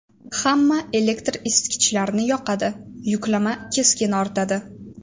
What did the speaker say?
Hamma elektr isitkichlarni yoqadi, yuklama keskin ortadi.